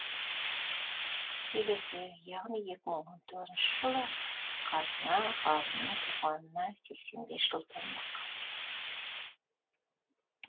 келесі яғни екі мың он тоғызыншы жылы қазына ғалымның туғанына сексен бес жыл болмақ